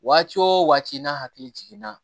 Waati o waati n'a hakili jiginna